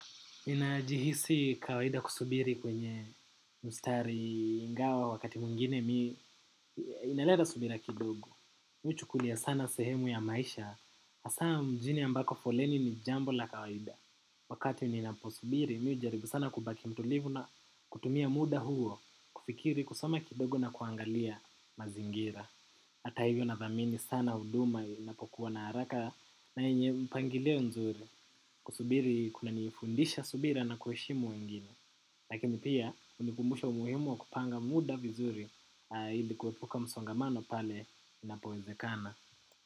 Ninajihisi kawaida kusubiri kwenye mstari ingawa wakati mwingine mi inaleta subira kidogo. Mi huchukulia sana sehemu ya maisha, asa mjini ambako foleni ni jambo la kawaida. Wakati ninapo subiri, mi hujaribu sana kubaki mtulivu na kutumia muda huo, kufikiri, kusoma kidogo na kuangalia mazingira. Hata hivyo nathamini sana huduma inapokuwa na haraka na yenye mpangilio mzuri kusubiri kunanifundisha subira na kuheshimu wengine. Lakini pia hunikumbusha umuhimu wa kupanga muda vizuri ili kuepuka msongamano pale inapowezekana.